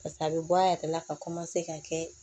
pase a be bɔ a yɛrɛ la ka ka kɛ